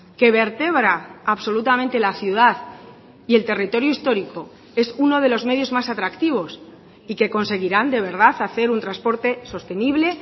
que vertebra absolutamente la ciudad y el territorio histórico es uno de los medios más atractivos y que conseguirán de verdad hacer un transporte sostenible